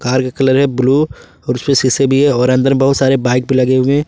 Car का colour है blue और उसमें शीशे भी हैं और अंदर में बहुत सारे बाइक भी लगे हुए हैं।